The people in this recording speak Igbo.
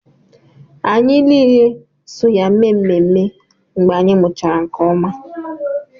Anyị niile so ya mee ememme mgbe anyị mụchara nke ọma